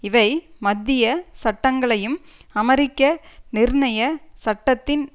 இவை மத்திய சட்டங்களையும் அமெரிக்க நிர்ணயச்சட்டத்தின்